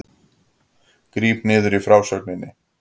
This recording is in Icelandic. Gríp niður í frásögninni